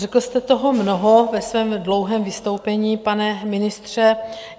Řekl jste toho mnoho ve svém dlouhém vystoupení, pane ministře.